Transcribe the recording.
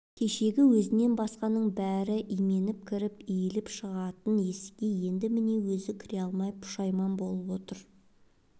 кешегі өзінен басқаның бәрі именіп кіріп иіліп шығатын есікке енді міне өзі кіре алмай пұшайман болып отыр